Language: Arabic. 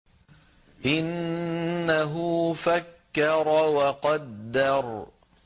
إِنَّهُ فَكَّرَ وَقَدَّرَ